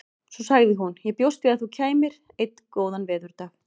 Svo sagði hún: Ég bjóst við að þú kæmir. einn góðan veðurdag